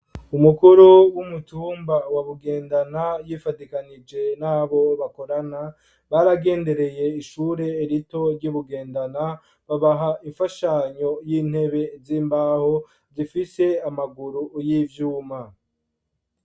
Umukuru w'umutumba wa bugendana yifadikanije nabo bakorana baragendereye ishure rito ry'ubugendana babaha imfashanyo y'intebe z'imbaho zifise amaguru y'ivyuma.